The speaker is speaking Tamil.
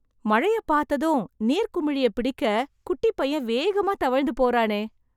மழையை பார்த்ததும், நீர்க்குமிழியை பிடிக்க, குட்டிப்பையன் வேகமா தவழ்ந்து போறானே...